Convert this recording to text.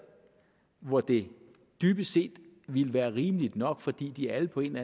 hvor det dybest set ville være rimeligt nok fordi de alle på en